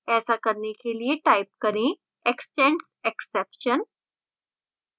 ऐसा करने के लिए type करें extends exception